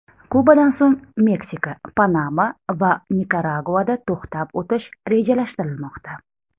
Kubadan so‘ng Meksika, Panama va Nikaraguada to‘xtab o‘tish rejalashtirilmoqda.